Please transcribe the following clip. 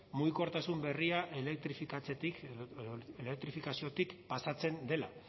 mugikortasun berria elektrifikaziotik pasatzen dela